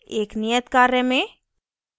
एक नियत कार्य में